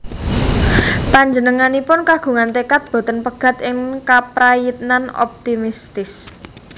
Panjenenganipun kagungan tekad boten pegat ing kaprayitnan optimistis